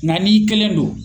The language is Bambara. Nga n'i kelen do